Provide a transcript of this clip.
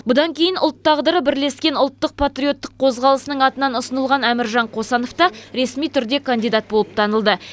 бұдан кейін ұлт тағдыры бірлескен ұлттық патриоттық қозғалысының атынан ұсынылған әміржан қосановта ресми түрде кандидат болып танылды